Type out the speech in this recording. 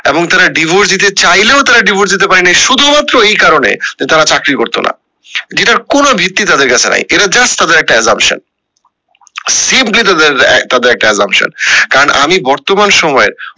এবং তারা divorce দিতে চাইলেও তারা divorce দিতে পারেনি শুধু মাত্র এই কারণে তারা চাকরি করতো না যেটার কোনো ভিত্তি তাদের কাছে নাই এটা just trader একটা assumption তাদের একটা তাদের একটি assumption কারণ আমি বর্তমান সময়ে